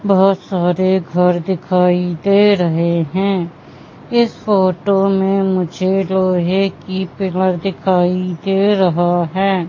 बहुत सारे घर दिखाई दे रहे हैं इस फोटो में मुझे लोहे की पिलर दिखाई दे रहा है।